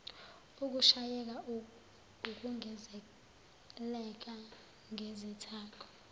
ukushayeka ukungezelela ngezithako